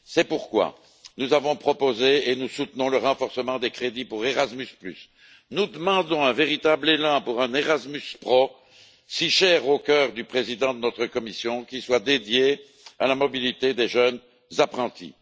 C'est pourquoi nous avons proposé et nous soutenons le renforcement des crédits pour Erasmus et nous demandons un véritable élan pour un Erasmus Pro si cher au cœur du président de notre Commission, qui soit dédié à la mobilité des jeunes apprentis.